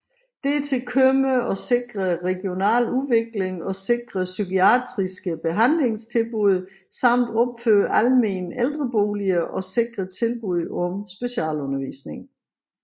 Dertil kommer at sikre regional udvikling og sikre psykiatriske behandlingstilbud samt opføre almene ældreboliger og sikre tilbud om specialundervisning